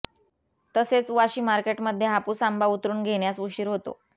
तसेच वाशी मार्केटमध्ये हापूस आंबा उतरून घेण्यास उशीर होतो